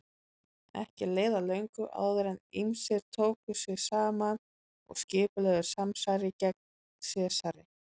Ekki leið á löngu áður en ýmsir tóku sig saman og skipulögðu samsæri gegn Sesari.